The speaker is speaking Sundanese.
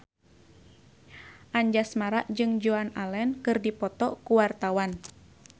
Anjasmara jeung Joan Allen keur dipoto ku wartawan